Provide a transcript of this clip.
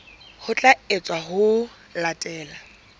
ho tla etswa ho latela